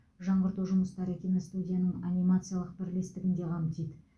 жаңғырту жұмыстары киностудияның анимациялық бірлестігін де қамтиды